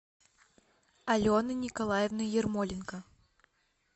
алены николаевны ермоленко